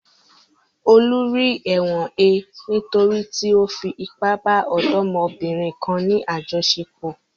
Olú rí ẹ̀wọ̀n he nítorí tí ó fi ipá bá ọ̀dọ́mọbìnrin kan ní àjọṣepọ̀.